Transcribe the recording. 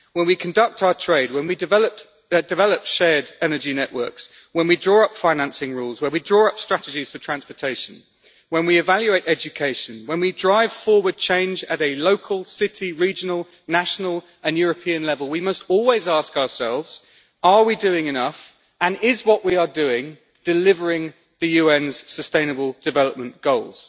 When we conduct our trade, when we develop shared energy networks, when we draw up financing rules, when we draw up strategies for transportation, when we evaluate education, when we drive forward change at a local, city, regional, national and European level we must always ask ourselves are we doing enough and is what we are doing delivering the UN's sustainable development goals?'